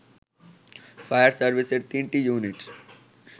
fire সার্ভিসের ৩টি unit